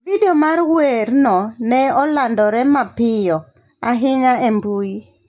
Vidio mar werno ne olandore mapiyo ahinya e mbui.